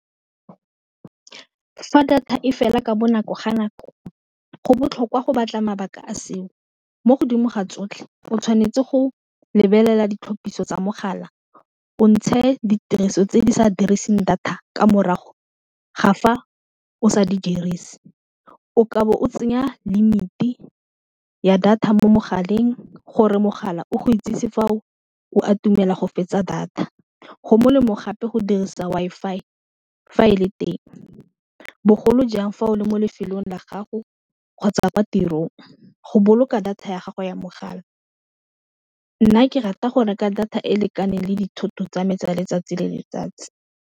Fa data e fela ka bonako ga nako go botlhokwa go batla mabaka a seo, mo godimo ga tsotlhe o tshwanetse go lebelela ditlhapiso tsa mogala o ntshe ditiriso tse di sa diriseng data ka morago ga fa o sa di dirise, o kabo o tsenya limit-e ya data mo mogaleng gore mogala o go itsisi fa o a itumela go fetsa data go molemo gape go dirisa Wi-Fi fa e le teng, bogolo jang fa o le mo lefelong la gago kgotsa kwa tirong go boloka data ya gago ya mogala nna ke rata go reka data e e lekaneng le dithoto tsa me tsa letsatsi le letsatsi.